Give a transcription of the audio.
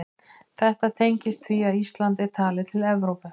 Þetta tengist því að Ísland er talið til Evrópu.